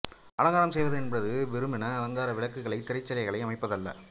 அலங்காரம் செய்வது என்றால் வெறுமனே அலங்கார விளக்குகளையும் திரைச் சீலைகளையும் அமைப்பது அல்ல